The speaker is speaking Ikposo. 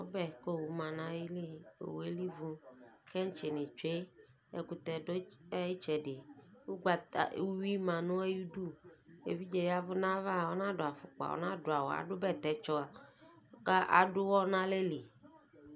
Ɔbɛ k'owu ma nʋ ayili, owu yɛ elivu, kintsɩ nɩ tsue, ɛkʋtɛ dʋ ayitsɛdɩ, ugbata, uyui ma nʋ ayidu Evidze yavʋ n'aysva ɔnadʋ afʋkpa, ɔnadʋ awʋ, adʋ bɛtɛtsɔ ka ad'ʋwɔ n'alɛli